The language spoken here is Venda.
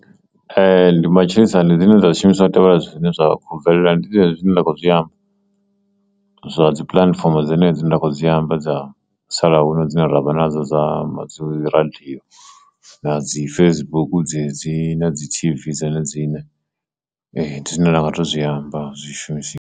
Ee, ndi matshilisano ndi zwine dza zwishumiswa tevhela zwine zwa khou bvelela ndi dzine nda kho zwi amba zwa dzi puḽatifomo dzine dzi nda kho dzi amba dza musalaho dzine ra vha nadzo dza madzulo dzi radio na dzi Facebook dzedzi na dzi t_v dzone dzine. Ndi zwine nda nga to zwi amba zwi shumisiwa.